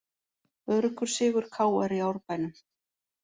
Öruggur sigur KR í Árbænum